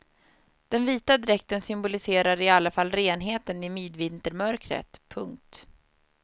Den vita dräkten symboliserar i alla fall renheten i midvintermörkret. punkt